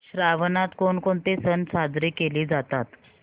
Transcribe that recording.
श्रावणात कोणकोणते सण साजरे केले जातात